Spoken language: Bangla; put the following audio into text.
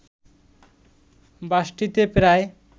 বাসটিতে প্রায়